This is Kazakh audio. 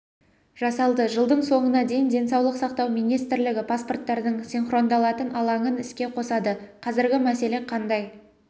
жасалды жылдың соңына дейін денсаулық сақтау министрлігі паспорттардың синхрондалатын алаңын іске қосады қазіргі мәселе қандай